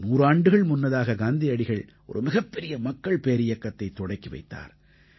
நூறாண்டுகள் முன்னதாக காந்தியடிகள் ஒரு மிகப்பெரிய மக்கள் பேரியக்கத்தைத் தொடக்கி வைத்தார்